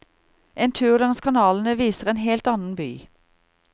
En tur langs kanalene viser en helt annen by.